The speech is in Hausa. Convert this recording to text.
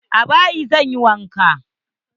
A bayi zan yi wanka.